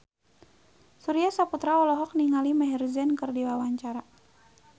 Surya Saputra olohok ningali Maher Zein keur diwawancara